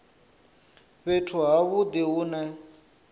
fhethu ha vhudi hu ne